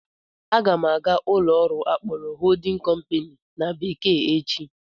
Aga m aga ụlọ ọrụ akpọrọ "holding company" na bekee echi